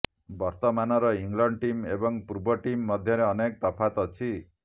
ବର୍ତ୍ତମାନର England team ଏବଂ ପୂର୍ବ ଟିମ୍ ମଧ୍ୟରେ ଅନେକ ତଫାତ୍ ଅଛି